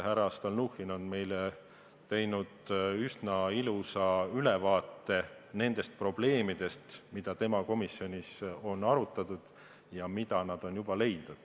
Härra Stalnuhhin on meile teinud üsna ilusa ülevaate nendest probleemidest, mida tema komisjonis on arutatud ja mis nad on juba leidnud.